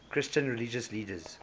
christian religious leaders